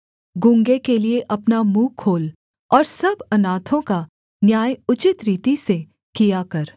गूँगे के लिये अपना मुँह खोल और सब अनाथों का न्याय उचित रीति से किया कर